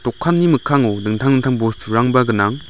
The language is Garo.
mikkango dingtang dingtang bosturangba gnang.